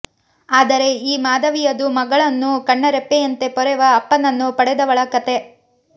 ಆದರೆ ಈ ಮಾಧವಿಯದು ಮಗಳನ್ನು ಕಣ್ಣರೆಪ್ಪೆಯಂತೆ ಪೊರೆವ ಅಪ್ಪನನ್ನು ಪಡೆದವಳ ಕಥೆ